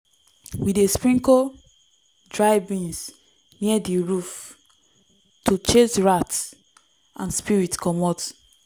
we dey sprinkle dry beans near di roof to chase rats and spirits comot.